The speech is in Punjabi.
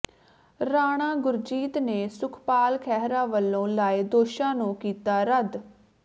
ਰਾਣਾ ਗੁਰਜੀਤ ਨੇ ਸੁਖਪਾਲ ਖਹਿਰਾ ਵੱਲੋਂ ਲਾਏ ਦੋਸ਼ਾਂ ਨੂੰ ਕੀਤਾ ਰੱਦ